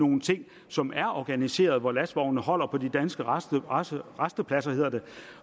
nogle ting som er organiserede hvor lastvognene holder på de danske rastepladser rastepladser